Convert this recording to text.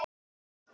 Hún hélt.